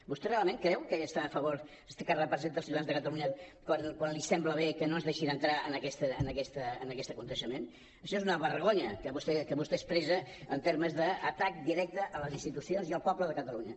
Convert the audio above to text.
vostè realment creu que està a favor que representa els ciutadans de catalunya quan li sembla bé que no ens deixin entrar en aquest esdeveniment això és una vergonya que vostès expressa en termes d’atac directe a les institucions i al poble de catalunya